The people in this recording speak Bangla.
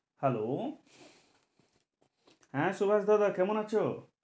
Hello হ্যাঁ সুভাষ দাদা কেমন আছো?